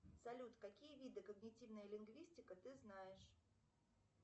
салют какие виды когнитивная лингвистика ты знаешь